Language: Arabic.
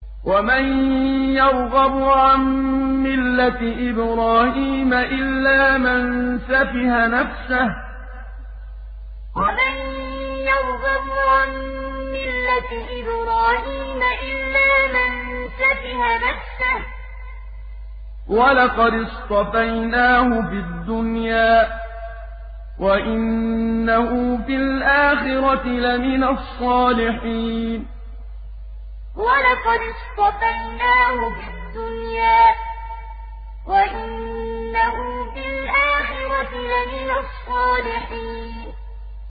وَمَن يَرْغَبُ عَن مِّلَّةِ إِبْرَاهِيمَ إِلَّا مَن سَفِهَ نَفْسَهُ ۚ وَلَقَدِ اصْطَفَيْنَاهُ فِي الدُّنْيَا ۖ وَإِنَّهُ فِي الْآخِرَةِ لَمِنَ الصَّالِحِينَ وَمَن يَرْغَبُ عَن مِّلَّةِ إِبْرَاهِيمَ إِلَّا مَن سَفِهَ نَفْسَهُ ۚ وَلَقَدِ اصْطَفَيْنَاهُ فِي الدُّنْيَا ۖ وَإِنَّهُ فِي الْآخِرَةِ لَمِنَ الصَّالِحِينَ